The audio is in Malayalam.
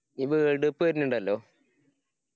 ഈ world cup വെര്നിണ്ടല്ലോ?